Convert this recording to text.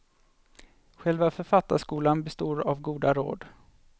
Själva författarskolan består av goda råd.